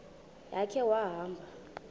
ya khe wahamba